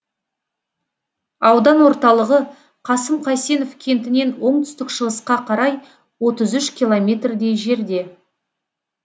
аудан орталығы қасым қайсенов кентінен оңтүстік шығысқа қарай отыз үш километрдей жерде